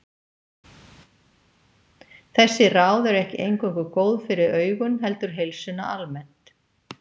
Þessi ráð eru ekki eingöngu góð fyrir augun heldur heilsuna almennt.